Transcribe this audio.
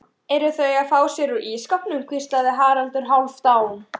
Eru þau að fá sér úr ísskápnum, hvíslaði Haraldur Hálfdán.